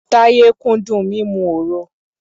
Táyé kúndùn mímu òro.